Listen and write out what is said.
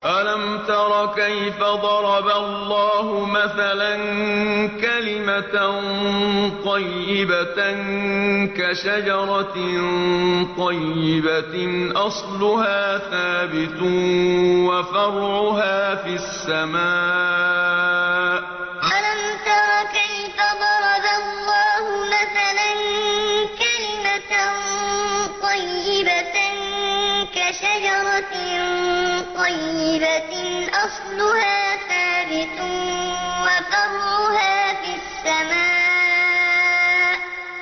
أَلَمْ تَرَ كَيْفَ ضَرَبَ اللَّهُ مَثَلًا كَلِمَةً طَيِّبَةً كَشَجَرَةٍ طَيِّبَةٍ أَصْلُهَا ثَابِتٌ وَفَرْعُهَا فِي السَّمَاءِ أَلَمْ تَرَ كَيْفَ ضَرَبَ اللَّهُ مَثَلًا كَلِمَةً طَيِّبَةً كَشَجَرَةٍ طَيِّبَةٍ أَصْلُهَا ثَابِتٌ وَفَرْعُهَا فِي السَّمَاءِ